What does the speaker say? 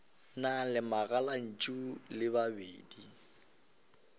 na le megalantšu e mebedi